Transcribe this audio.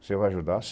Você vai ajudar?